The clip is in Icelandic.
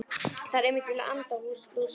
Það er einmitt í anda Lúsíu.